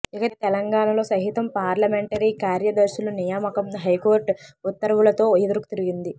ఇక తెలంగాణలో సహితం పార్లమెంటరీ కార్యదర్శుల నియామకం హైకోర్టు ఉత్తర్వులతో ఎదురుతిరిగింది